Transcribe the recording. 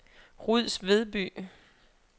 Ruds Vedby